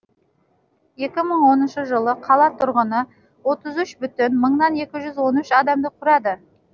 екі мың оныншы жылы қала тұрғыны отыз үш бүтін мыңнан екі жүз он үш адамды құрады